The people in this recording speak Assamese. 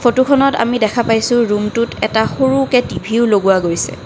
ফটো খনত আমি দেখা পাইছোঁ ৰুম টোত এটা সৰুকে টি_ভি ও লগোৱা গৈছে।